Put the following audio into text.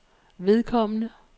vedkommende